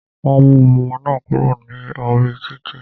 Wọn mú ọmọ náà kúrò ní orí títì.